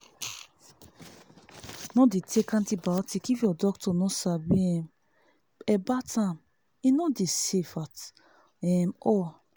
no dey take antibiotic if your doctor no sabi um about am e no dey safe at um all